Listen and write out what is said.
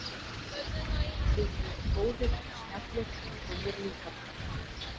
Við vorum góðir og snjallir og mér líkar það.